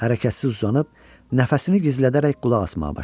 Hərəkətsiz uzanıb, nəfəsini gizlədərək qulaq asmağa başladı.